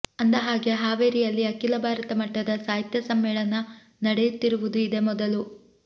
ಅಂದಹಾಗೆ ಹಾವೇರಿಯಲ್ಲಿ ಅಖಿಲ ಭಾರತ ಮಟ್ಟದ ಸಾಹಿತ್ಯ ಸಮ್ಮೇಳನ ನಡೆಯುತ್ತಿರುವುದು ಇದೇ ಮೊದಲು